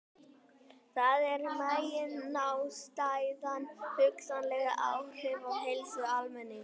Þar er meginástæðan hugsanleg áhrif á heilsu almennings.